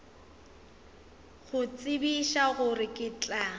go tsebiša gore ke tla